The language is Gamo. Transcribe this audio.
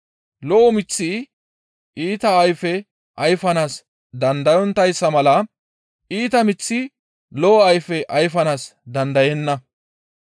Lo7o miththi iita ayfe ayfanaas dandayonttayssa mala iita miththi lo7o ayfe ayfanaas dandayenna.